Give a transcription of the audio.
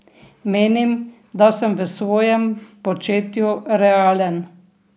Menim, da sem v svojem početju realen.